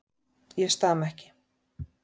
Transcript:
Ég stama ekki.